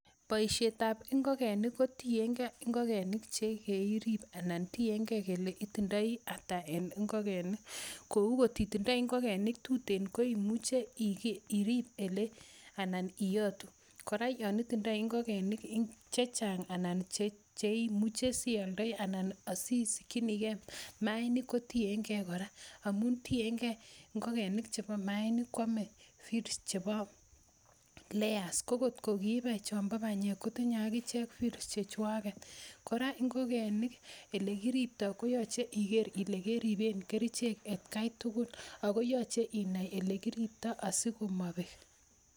Boisietab ingokenik ko tienge ngokenik che kerib anan tienge kole itindoi ata en ngokenik kou kotindo ngokenik tuten koimuche irib anan iyotu. Kora yon itindoi ngokenik chechang anan che imuche sialdoi anan asiikinige maainik koienge kora amun tienge ngokenik chebo maainik koame feeds chebo layers ko kotko kiibai chombo banyek kotinye ak ichek chechwaget. Kora ingokenik ele kiripto koyoche iger ile keripen kerichek atkai tugul ago yoche inai ele kiripto asikomobek.